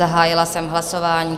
Zahájila jsem hlasování.